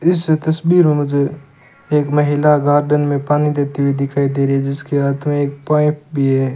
इस तस्वीर मे मुझे एक महिला गार्डन में पानी देती हुई दिखाई दे रही है जिसके हाथ में एक पाइप भी है।